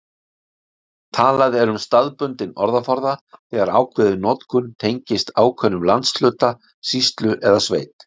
Talað er um staðbundinn orðaforða þegar ákveðin notkun tengist ákveðnum landshluta, sýslu eða sveit.